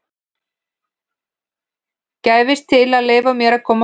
gæfist til að leyfa mér að koma fram.